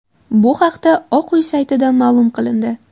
Bu haqda Oq uy saytida ma’lum qilindi .